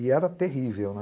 E era terrível, né?